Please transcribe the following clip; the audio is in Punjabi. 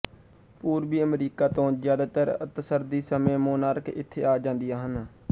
ਪੂਰਬੀ ਅਮਰੀਕਾ ਤੋਂ ਜਿਆਦਾਤਰ ਅੱਤਸਰਦੀ ਸਮੇ ਮੋਨਾਰਕ ਇੱਥੇ ਆ ਜਾਂਦੀਆਂ ਹਨ